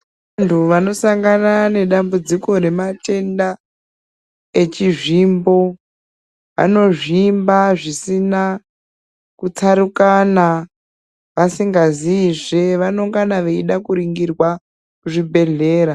Vantu vanosangana nedambudziko rematenda echizvimbo, anozvimba zvisina kutsarukana, vasingaziyizve, vanongana veidakuringirwa kuzvibhedhlera.